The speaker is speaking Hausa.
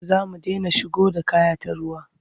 Za mu dena shigo da kaya ta ruwa.